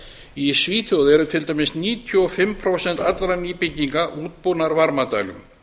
í svíþjóð eru til dæmis níutíu og fimm prósent allra nýbygginga útbúnar varmadælum